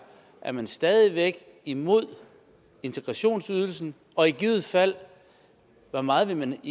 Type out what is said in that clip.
er man stadig væk imod integrationsydelsen og i givet fald hvor meget vil man